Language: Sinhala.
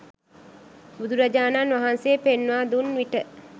බුදුරජාණන් වහන්සේ පෙන්වා දුන් විට